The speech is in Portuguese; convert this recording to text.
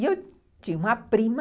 E eu tinha uma prima...